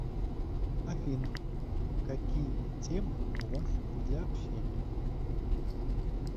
афина какие темы у вас для общения